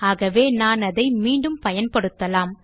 ஆகவே நான் அதை மீண்டும் பயன்படுத்தலாம்